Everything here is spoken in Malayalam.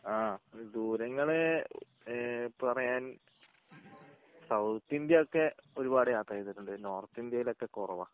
ആഹ് ദൂരങ്ങള് ഈഹ് പറയാൻ സൗത്ത് ഇന്ത്യ ഒക്കെ ഒരുപാട് യാത്ര ചെയ്തിട്ടുണ്ട് നോർത്ത് ഇന്ത്യയിൽ ഒക്കെ കുറവാ